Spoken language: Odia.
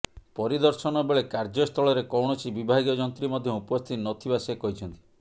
ପରିଦର୍ଶନ ବେଳେ କାର୍ଯ୍ୟସ୍ଥଳରେ କୌଣସି ବିଭାଗୀୟ ଯନ୍ତ୍ରୀ ମଧ୍ୟ ଉପସ୍ଥିତି ନ ଥିବା ସେ କହିଛନ୍ତି